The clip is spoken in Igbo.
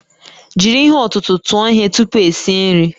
Jiri ihe ọ̀tụ̀tụ̀ tụọ ihe tupu esi nri